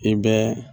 I bɛ